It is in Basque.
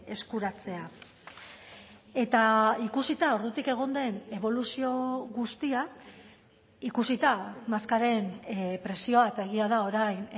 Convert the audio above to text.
eskuratzea eta ikusita ordutik egon den eboluzio guztia ikusita maskaren prezioa eta egia da orain